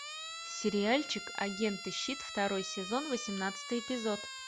сериальчик агенты щит второй сезон восемнадцатый эпизод